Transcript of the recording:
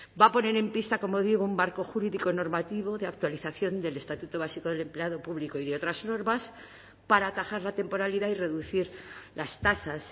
va a poner en pista como digo un marco jurídico normativo de actualización del estatuto básico del empleado público y de otras normas para atajar la temporalidad y reducir las tasas